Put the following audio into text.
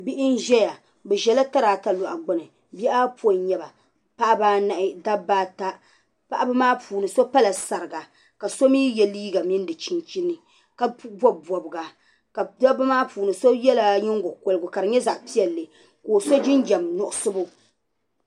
Bihi n zaya bɛzɛla tarata. lɔɣu gbuni .bihiayɔpɔin n nyɛ ba paɣiba anahi. dabba ata. paɣb maa puuni so pala sarga. kasomi yɛ liiga mini di chin chini kabob bobga kadab maa puuni kaso yɛ nyingo kukorigu kadi nyɛ zaɣ' piɛlli kaoso jinjam nuɣso